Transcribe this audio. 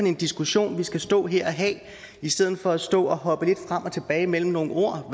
en diskussion vi skal stå her og have i stedet for at stå og hoppe lidt frem og tilbage mellem nogle ord